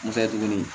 N fɛ tuguni